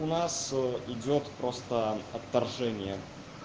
у нас идёт просто отторжение